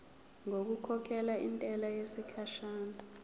ngokukhokhela intela yesikhashana